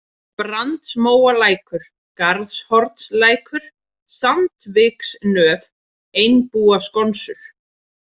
Brandsmóalækur, Garðshornslækur, Sandviksnöf, Einbúaskonsur